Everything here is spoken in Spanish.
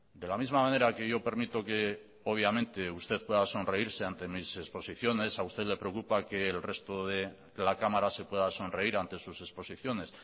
de la misma manera que yo permito que obviamente usted pueda sonreírse ante mis exposiciones a usted le preocupa que el resto de la cámara se pueda sonreír ante sus exposiciones